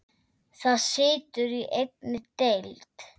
Það situr í einni deild.